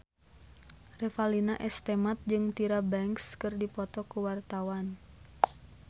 Revalina S. Temat jeung Tyra Banks keur dipoto ku wartawan